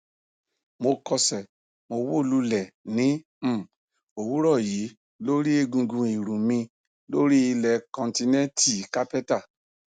mo kọsẹ mo wó lulẹ ní um òwúrọ yí lórí egungun ìrù mi lórí ilẹ kọńtínẹǹtì kápẹtà